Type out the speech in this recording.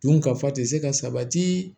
Don ka fa tɛ se ka sabati